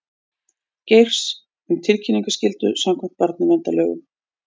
Geirs um tilkynningaskyldu samkvæmt barnaverndarlögum